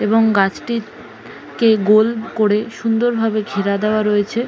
এবং গাছটি কে গোল করে সুন্দরভাবে ঘেরা দেওয়া রয়েছে।